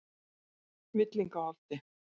Villingaholti